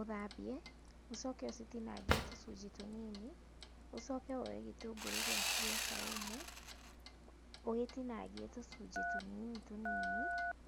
Ũthambie, ũcoke ũcitinangie tũcunjĩ tũnini, ũcoke woye gĩtũngũrũ gĩaku gĩa saumu ũgĩtinangie tũcunji tũnini tũnini,